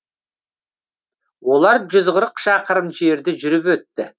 олар жүз қырық шақырым жерді жүріп өтті